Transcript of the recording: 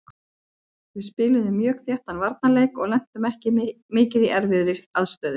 Við spiluðum mjög þéttan varnarleik og lentum ekki mikið í erfiðri aðstöðu.